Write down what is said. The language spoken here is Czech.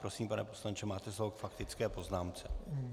Prosím, pane poslanče, máte slovo k faktické poznámce.